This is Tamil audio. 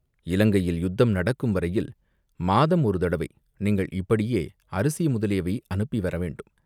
இலங்கையில் யுத்தம் நடக்கும் வரையில் மாதம் ஒரு தடவை நீங்கள் இப்படியே அரிசி முதலியவை அனுப்பி வரவேண்டும்.